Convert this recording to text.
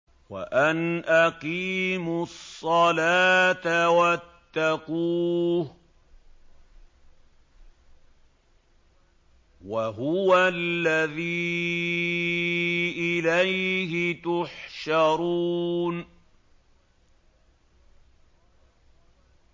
وَأَنْ أَقِيمُوا الصَّلَاةَ وَاتَّقُوهُ ۚ وَهُوَ الَّذِي إِلَيْهِ تُحْشَرُونَ